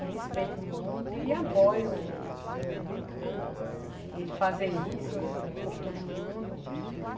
Eu respeito muito e apoio o ele fazer isso por todo mundo.